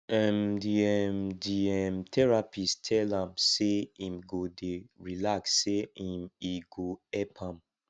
um di um di um therapist tell am sey im go dey relax sey um e go help am